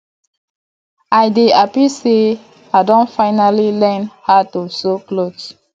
i dey happy say i don finally learn how to sew cloth